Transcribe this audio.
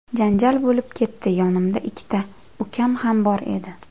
Janjal bo‘lib ketdi, yonimda ikkita ukam ham bor edi.